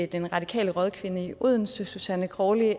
den radikale rådkvinde i odense susanne crawley